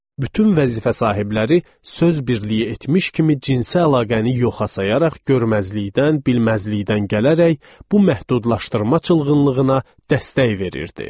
Bütün vəzifə sahibləri söz birliyi etmiş kimi cinsi əlaqəni yoxa sayaraq görməzlikdən, bilməzlikdən gələrək bu məhdudlaşdırma çılgınlığına dəstək verirdi.